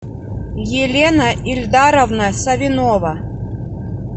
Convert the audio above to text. елена ильдаровна савинова